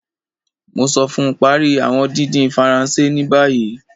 Mo sọ fún, Parí awọn dídín Faransé ní bàyìí